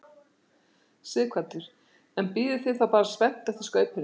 Sighvatur: En bíðið þið þá spennt eftir skaupinu?